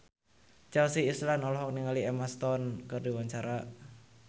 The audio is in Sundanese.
Chelsea Islan olohok ningali Emma Stone keur diwawancara